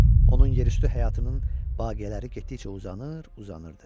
Onun yerüstü həyatının baqiyələri getdikcə uzanır, uzanırdı.